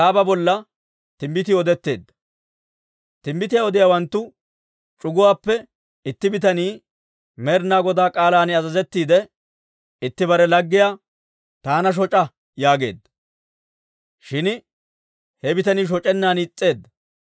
Timbbitiyaa odiyaawanttu c'uguwaappe itti bitanii Med'inaa Godaa k'aalan azazettiide itti bare laggiyaa, «Taana shoc'a» yaageedda; shin he bitanii shoc'ennan is's'eedda.